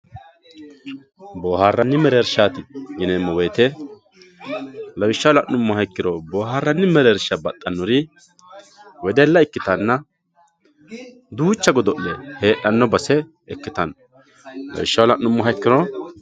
Booharanni merreerishatti yineemo woyite, lawisha la'numoha ikkiro booharanni mereerisha baxanori weddella ikkitanna duucha godo'le heedhano base ikkitano irisha la'numoha ikkiro